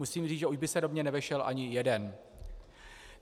Musím říct, že už by se do mě nevešel ani jeden.